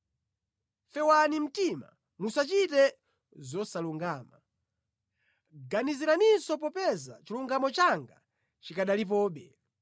Fewani mtima, musachite zosalungama; ganiziraninso popeza chilungamo changa chikanalipobe.